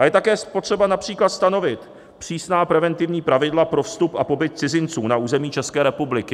A je také potřeba například stanovit přísná preventivní pravidla pro vstup a pobyt cizinců na území České republiky.